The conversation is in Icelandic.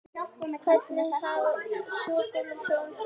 Hvernig hafa svo gömlu hjónin það?